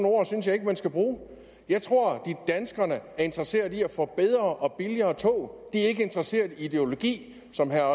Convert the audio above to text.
ord synes jeg ikke man skal bruge jeg tror danskerne er interesseret i at få bedre og billigere tog de er ikke interesseret i ideologi som herre